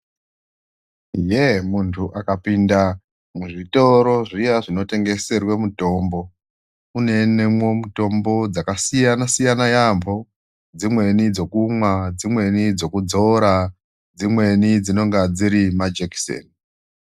Ye, muntu akapinda muzvitoro zviyani zvinotengeserwe mitombo kuno onekwe mitombo dzakasiyana yambo dzimweni dzekumwa dzimweni dzekudzora dzimweni dzinenge dziri majekiseni.